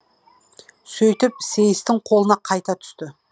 сөйтіп сейістің қолына қайта түсті